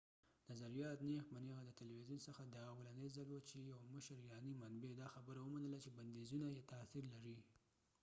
نظریات نیغ په نیغه د تلويزیون څخه دا اولنی ځل وه چې یو مشر ایرانی منبع دا خبره ومنله چې بنديزونه تاثیر لري